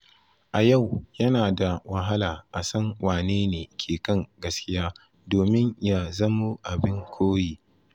A yau, yana da wahala a san wane ne ke kan gaskiya domin ya zamo abin koyi.